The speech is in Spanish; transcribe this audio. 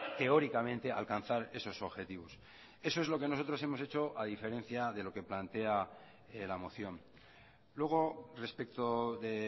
teóricamente alcanzar esos objetivos eso es lo que nosotros hemos hecho a diferencia de lo que plantea la moción luego respecto de